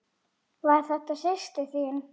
Var þetta systir þín?